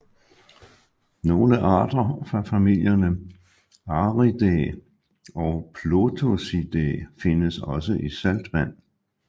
Nogle arter fra familierne Ariidae og Plotosidae findes også i saltvand